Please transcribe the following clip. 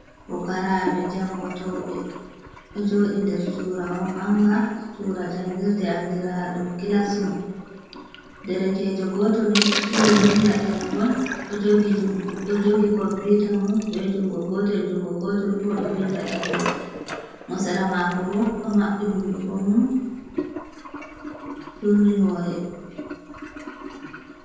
Pokaraɓe jangotoɓe ɗo jodi nder surawo manga sura jangirɗe andira ɗum kilasrum ɗerekejo gotol ni ɗo turi vinɗa ɗerewol ɗo jogi komputa mum be jungo gotel jungo gotel bo do vinɗa ɗerewol mo sera mako ɓo ɗo maɓɓi hunɗu ko mum turni hore